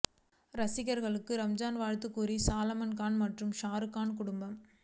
ரசிகர்களுக்கு ரம்ஜான் வாழ்த்து கூறிய சல்மான் கான் மற்றும் ஷாரு கான் குடும்பம்